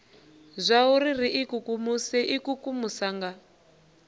zwauri ri ikukumuse ikukumusa nga